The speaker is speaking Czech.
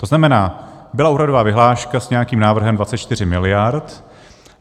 To znamená, byla úhradová vyhláška s nějakým návrhem 24 miliard.